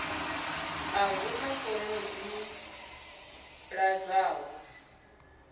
a huna fomo dzi ḓ adzwaho